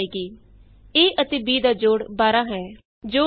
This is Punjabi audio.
sum of A and B is 12 ਜੋੜ 10 ਤੋਂ ਜਿਆਦਾ ਹੈ ਅਤੇ 20 ਤੋਂ ਘਟ ਹੈ